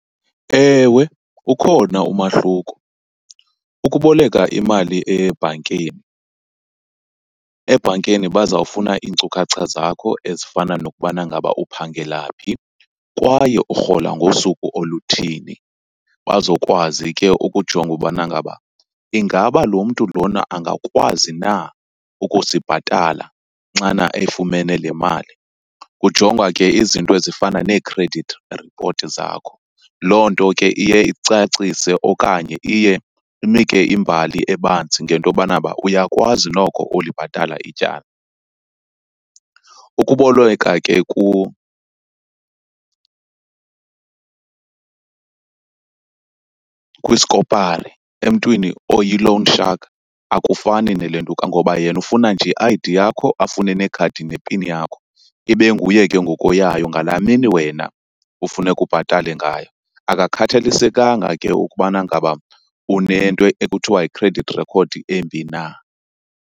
Ewe, ukhona umahluko. Ukuboleka imali ebhankeni, ebhankeni bazawufuna iinkcukacha zakho ezifana nokubana ngaba uphangela phi kwaye urhola ngosuku oluthini. Bazokwazi ke ukujonga ubana ngaba ingaba lo mntu lona angakwazi na ukusibhatala xana efumene le mali. Kujongwa ke izinto ezifana nee-credit report zakho, loo nto ke iye icacise okanye iye inike imbali ebanzi ngento yobanaba uyakwazi noko ulibhatala ityala. Ukuboleka ke kwisikopari, emntwini oyi-loan shark, akufani nelentuka ngoba yena ufuna nje i-I_D yakho afune nekhadi nepini yakho, ibe nguye ke ngoku oyayo ngalaa mini wena ufuneka ubhatale ngayo. Akakhathalisekanga ke ukubana ngaba unento ekuthiwa yi-credit record embi na.